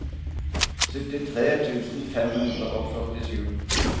syttitre tusen fem hundre og førtisju